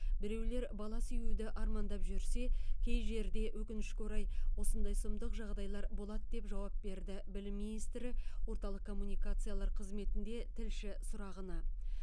біреулер бала сүюді армандап жүрсе кей жерде өкінішке орай осындай сұмдық жағдайлар болады деп жауап берді білім министрі орталық коммуникациялар қызметінде тілші сұрағына